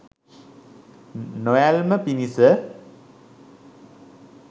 නොඇල්ම පිණිස